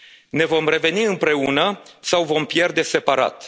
Ne vom reveni împreună sau vom pierde